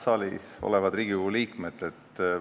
Head saalis olevad Riigikogu liikmed!